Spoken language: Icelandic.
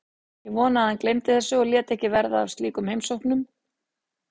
Ég vonaði að hann gleymdi þessu og léti ekki verða af slíkum heimsóknum.